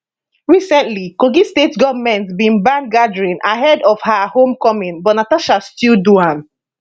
recently kogi state goment bin ban gatherings ahead of her home coming but natasha still do am